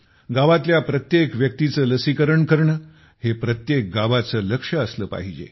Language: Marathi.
गावातल्या प्रत्येक व्यक्तीचे लसीकरण करणे हे प्रत्येक गावाचे लक्ष्य असले पाहिजे